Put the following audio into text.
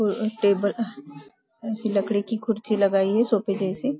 और अ टेबल अह ऐसी लकड़ी की कुर्सी लगाई है सोफे जैसी।